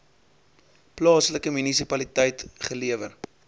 plaaslike munisipaliteit gelewer